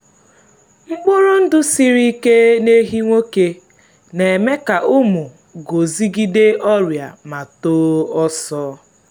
mkpụrụ ndụ siri ike n’ehi nwoke na-eme ka ụmụ guzogide ọrịa ma too ọsọ.